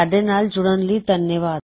ਸਾਡੇ ਨਾਲ ਜੁੜਨ ਲਈ ਧੰਨਵਾਦ